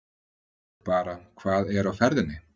Bara hvað er á ferðinni?